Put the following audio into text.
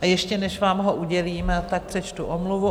A ještě než vám ho udělím, tak přečtu omluvu.